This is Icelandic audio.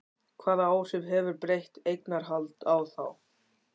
Hvaða áhrif hefur breytt eignarhald á þá?